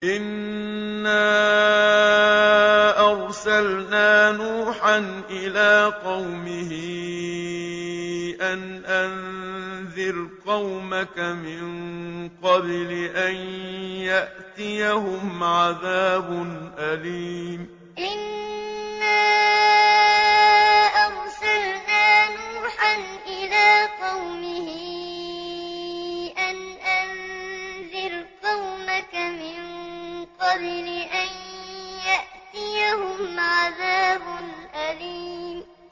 إِنَّا أَرْسَلْنَا نُوحًا إِلَىٰ قَوْمِهِ أَنْ أَنذِرْ قَوْمَكَ مِن قَبْلِ أَن يَأْتِيَهُمْ عَذَابٌ أَلِيمٌ إِنَّا أَرْسَلْنَا نُوحًا إِلَىٰ قَوْمِهِ أَنْ أَنذِرْ قَوْمَكَ مِن قَبْلِ أَن يَأْتِيَهُمْ عَذَابٌ أَلِيمٌ